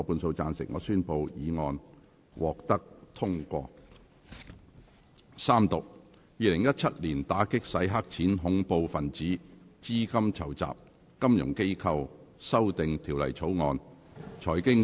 主席，我動議《2017年打擊洗錢及恐怖分子資金籌集條例草案》予以三讀並通過。